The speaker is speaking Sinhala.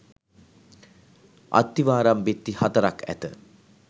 අත්තිවාරම් බිත්ති හතරක් ඇත.